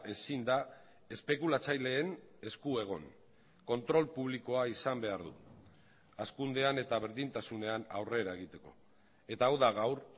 ezin da espekulatzaileen esku egon kontrol publikoa izan behar du hazkundean eta berdintasunean aurrera egiteko eta hau da gaur